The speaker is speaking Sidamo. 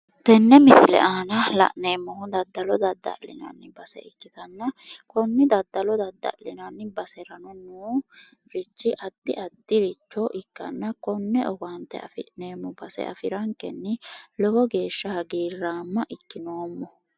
Tenne misile aana la'neemmohu daddalo dadda'linanni base ikkitanna konne daddalo dadda'linanni basera noorichi addi addiricho ikkanna konne owaante afi'neemmo base afirankenni lowo geeshsha hagiirraama ikkinoomo.